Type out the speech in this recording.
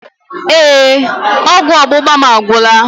Ee, ọgwụ ọgbụgba mụ agwụla.